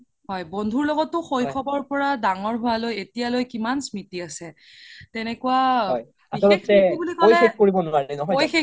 হয় বন্ধুৰ লগতো শৈশৱ পৰা দাঙৰ হুৱা লৈ এতিয়া লৈ কিমান স্ম্ৰিতি আছে তেনেকুৱা বিশেষ মানে কই শেষ কৰিব